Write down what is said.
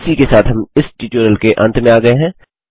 इसी के साथ हम इस ट्यूटोरियल के अंत में आ गये हैं